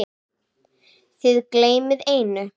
Þið gleymið einu.